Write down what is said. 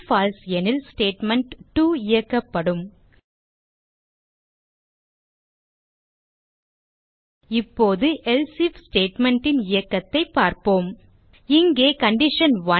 பால்சே எனில் ஸ்டேட்மெண்ட்2 இயக்கப்படும் இப்போது எல்சே ஐஎஃப் statementன் இயக்கத்தைப் பார்ப்போம் இங்கே கண்டிஷன்1